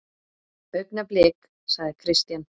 Augnablik, sagði Christian.